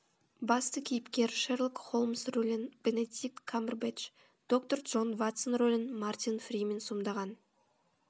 басты кейіпкер шерлок холмс рөлін бенедикт камбербэтч доктор джон ватсон рөлін мартин фримен сомдаған